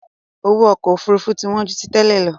Owó ọkọ Òfurufú ti wọn ju tí tẹ́lẹ̀ lọ